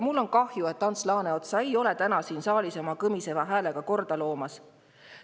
Mul on kahju, et Ants Laaneotsa ei ole täna siin saalis oma kõmiseva häälega korda loomas.